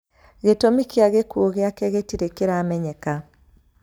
Gĩtũmi kĩa gĩkuũ gĩake gĩtirĩ kĩramenyeka.